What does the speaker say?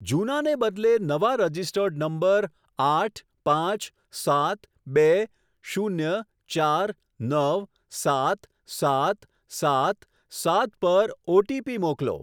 જૂનાને બદલે નવા registered number આઠ પાંચ સાત બે શૂન્ય ચાર નવ સાત સાત સાત સાત પર ઓટીપી મોકલો.